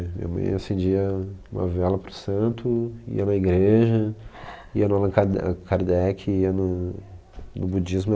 Minha mãe acendia uma vela para o santo, ia na igreja, ia no Allan Karde, Kardec, ia no no budismo.